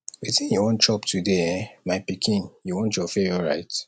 wetin you wan chop today eh my pikin you want your favorite